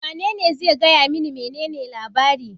Wanene zai iya gaya mani menene labari?